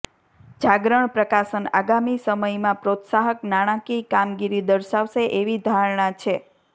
જાગરણ પ્રકાશન આગામી સમયમાં પ્રોત્સાહક નાણાકીય કામગીરી દર્શાવશે એવી ધારણા છે